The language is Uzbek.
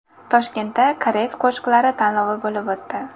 Toshkentda Koreys qo‘shiqlari tanlovi bo‘lib o‘tdi.